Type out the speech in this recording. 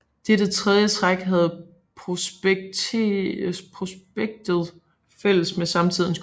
Dette tredje træk havde prospektet fælles med samtidens kort